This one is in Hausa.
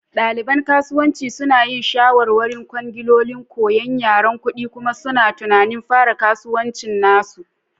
Ɗaliban kasuwanci suna yin shawarwarin kwangiloli, koyan yaren kuɗi, kuma suna tunanin fara kasuwancin nasu.